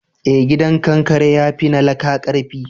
eh gidan kankare ya fi na laƙa karfi